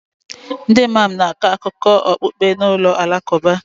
Ndị Imam na-akọ akụkọ okpukpe na ụlọ alakụba